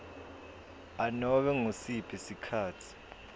anobe ngusiphi sikhatsi